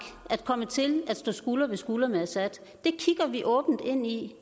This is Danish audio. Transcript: at komme til at stå skulder ved skulder med assad det kigger vi åbent ind i